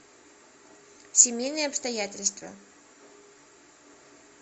семейные обстоятельства